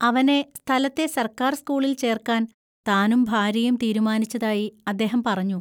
അവനെ സ്ഥലത്തെ സർക്കാർ സ്കൂളിൽ ചേർക്കാൻ താനും ഭാര്യയും തീരുമാനിച്ചതായി അദ്ദേഹം പറഞ്ഞു.